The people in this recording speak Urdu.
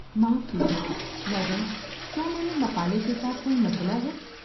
معاف کیجیے، میڈم، کیا میرے مقالے کے ساتھ کوئی مسئلہ ہے؟